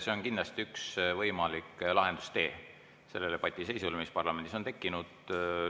See on kindlasti üks võimalik lahendustee sellele patiseisule, mis parlamendis on tekkinud.